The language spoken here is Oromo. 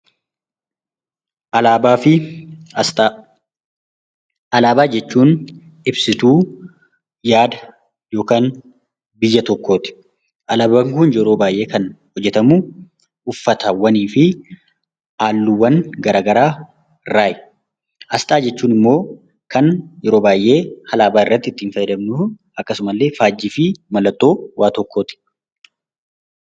Alaabaa fi asxaa Alaabaa jechuun ibsituu yaada yookaan biyya tokkoo ti. Alaabaan kun yeroo baay'ee kan hojjetamu uffataawwanii fi halluuwwan garagaraa irraayi. Asxaa jechuun immoo kan yeroo baay'ee alaabaa irratti ittiin fayyadamnu akkasuma illee faajjii fi mallattoo waa tokkoo ti.